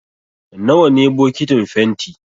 Nawa ne bokitin fenti?